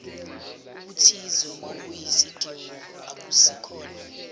obuthize obuyisidingo akusikhona